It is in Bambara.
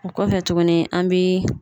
O kɔfɛ tuguni an bi